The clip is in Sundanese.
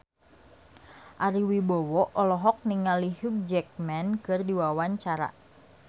Ari Wibowo olohok ningali Hugh Jackman keur diwawancara